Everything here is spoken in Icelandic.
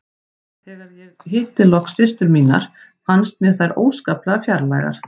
Þegar ég hitti loks systur mínar fannst mér þær óskaplega fjarlægar.